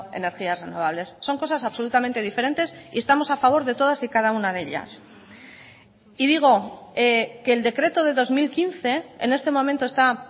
energías renovables son cosas absolutamente diferentes y estamos a favor de todas y cada una de ellas y digo que el decreto de dos mil quince en este momento está